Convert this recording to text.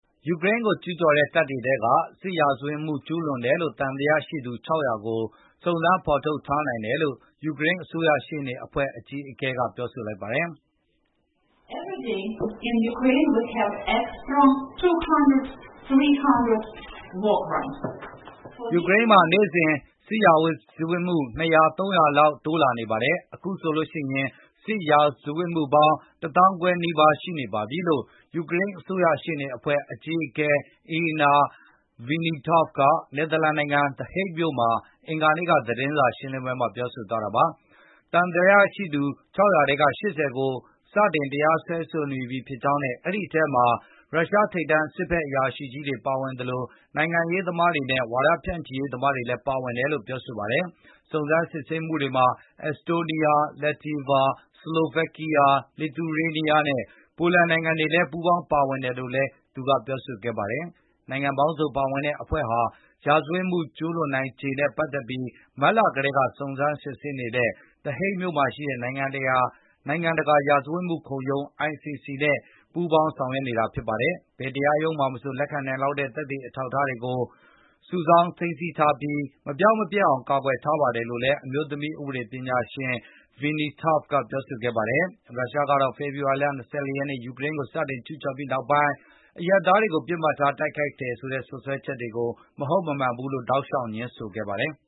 ယူကရိန်းကို ကျူးကျော်တဲ့ ရုရှားတပ်တွေထဲက စစ်ရာဇဝတ်မှု ကျူးလွန်တယ်လို့ သံသယ ရှိသူ ၆၀၀ ကို စုံစမ်းဖေါ်ထုတ်ထားနိုင်တယ်လို့ ယူကရိန်း အစိုးရရှေ့နေအဖွဲ့ အကြီးအကဲက ပြောဆိုလိုက် ပါတယ်။ "ယူကရိန်းမှာ နေ့စဉ် စစ်ရာဇဝတ်မှု ၂၀၀၊ ၃၀၀ လောက် တိုးလာနေပါတယ်။ အခုဆိုရင် စစ်ရာဇဝတ်မှုပေါင်း ၁ သောင်းခွဲနီးပါး ရှိနေပါပြီ" လို့ ယူကရိန်း အစိုးရရှေ့နေအဖွဲ့ အကြီးအကဲ Iryna Venediktova က နယ်သာလန်နိုင်ငံ The Hague မြို့မှာ အင်္ဂါနေ့က လုပ်တဲ့ သတင်းစာရှင်းလင်းပွဲမှာ ပြောသွားတာပါ။ အဲဒီ သံသယရှိသူ ၆၀၀ ထဲက ၈၀ ကို စတင် တရားစွဲဆိုနေပြီ ဖြစ်ကြောင်းနဲ့ အဲဒီ အထဲမှာ ရုရှား ထိပ်တန်း စစ်ဘက်အရာရှိကြီးတွေ ပါဝင်သလို နိုင်ငံရေးသမားတွေနဲ့ ဝါဒဖြန်ချိရေး သမားတွေလည်း ပါဝင်တယ်လို့ ပြောဆိုပါတယ်။ စုံစမ်းစစ်ဆေးမှုတွေမှာ အက်စတိုးနီးယား၊ လက်တီဗာ၊ စလိုဗက်ကီးယား၊ လစ်သူရေးနီးယား နဲ့ ပိုလန်နိုင်ငံတွေလည်း ပူးပေါင်းပါဝင်တယ်လို့လည်း သူမကပြောပါတယ်။ ဒီနိုင်ငံပေါင်းစုံ ပါဝင်တဲ့ အဖွဲ့ဟာ စစ်ရာဇဝတ်မှု ကျုးလွန်နိုင်ချေနဲ့ ပတ်သက်လို့ မတ်လ ကတည်းက စုံစမ်းနေတဲ့ The Hague မြို့မှာရှိတဲ့ နိုင်ငံတကာ ရာဇဝတ်မှုခုံရုံး ICC နဲ့လည်း ပူးပေါင်း ဆောင်ရွက်နေပါတယ်။ ဘယ်တရားရုံးမှာမဆို လက်ခံနိုင်လောက်တဲ့ သက်သေ အထောက်အထား တွေကို ချက်ချင်း စုဆောင်းသိမ်းဆည်းပြီး မပျောက်ပျက်အောင် ကာကွယ်ထားပါတယ်လို့ အမျိုးသမီး ဥပဒေပညာရှင် Venediktova ကပြောဆိုခဲ့ပါတယ်။ ရုရှားကတော့ ဖေဖေါ်ဝါရီလ ၂၄ ရက်နေ့ ယူကရိန်းကို စတင်ကျူးကျော်ပြီး နောက်ပိုင်း အရပ်သားတွေကို ပစ်မှတ်ထား တိုက်ခိုက်တယ်ဆိုတဲ့ စွပ်စွဲချက်တွေကို မဟုတ်မမှန်ကြောင်း တောက်လျှောက် ငြင်းဆိုပါတယ်။